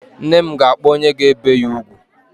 Nne m ga-akpọ onye ga-ebe ya ugwu.